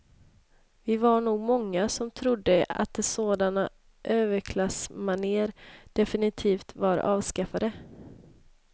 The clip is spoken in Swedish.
Vi var nog många som trodde att sådana överklassmanér definitivt var avskaffade.